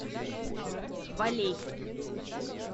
валей